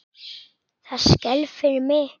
Það skelfir mig.